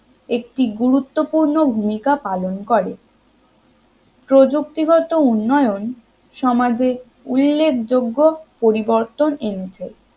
একটি গুরুত্বপূর্ণ ভূমিকা পালন করে প্রযুক্তিগত উন্নয়ন সমাজের উল্লেখযোগ্য পরিবর্তন এনেছে